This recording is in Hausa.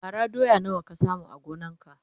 bara doya nawa ka samu a gonan ka?